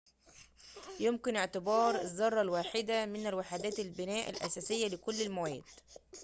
يُمكن اعتبار الذرة واحدة من وحدات البناء الأساسية لكل المواد